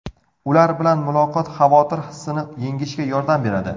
Ular bilan muloqot xavotir hissini yengishga yordam beradi.